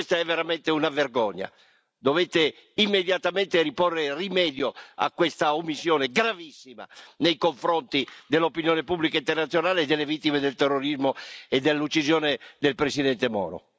Questa è veramente una vergogna. Dovete immediatamente porre rimedio a questa omissione gravissima nei confronti dell'opinione pubblica internazionale, delle vittime del terrorismo e dell'uccisione del Presidente Moro.